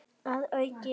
Að auki